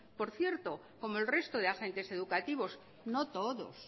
por cierto como el resto de agentes educativos no todos